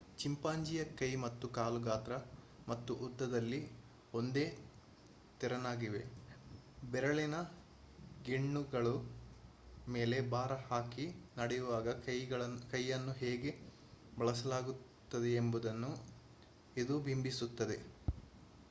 ಚಿಂಪಾಂಜಿಯ ಕೈ ಮತ್ತು ಕಾಲು ಗಾತ್ರ ಮತ್ತು ಉದ್ದದಲ್ಲಿ ಒಂದೇ ತೆರನಾಗಿವೆ ಬೆರಳಿನ ಗೆಣ್ಣುಗಳ ಮೇಲೆ ಭಾರಹಾಕಿ ನಡೆಯುವಾಗ ಕೈಯನ್ನು ಹೇಗೆ ಬಳಸಲಾಗುತ್ತದೆಯೆಂಬುದನ್ನು ಇದು ಬಿಂಬಿಸುತ್ತದೆ